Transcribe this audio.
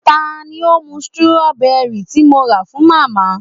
ta ni ó mú strawberry tí mo rà fún màmá